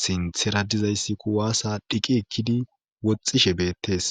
sinthera dizayssi kuwaasa dhiqi ekkidi woxxishe beettes